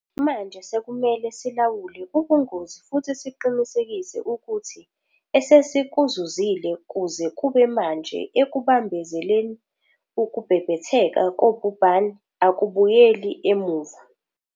Manje sekumele silawule ubungozi futhi siqinisekise ukuthi esesikuzuzile kuze kube manje ekubambezeleni ukubhebhetheka kobhubhane akubuyeli emuva.